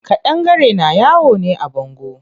Ƙadangare na yawo ne a bango.